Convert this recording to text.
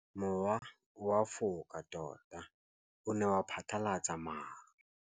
Mowa o wa go foka tota o ne wa phatlalatsa maru.